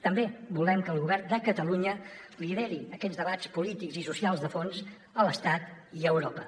també volem que el govern de catalunya lideri aquests debats polítics i socials de fons a l’estat i a europa